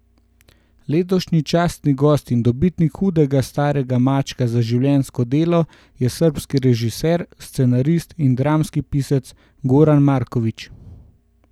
Letošnji častni gost in dobitnik hudega starega mačka za življenjsko delo je srbski režiser, scenarist in dramski pisec Goran Marković.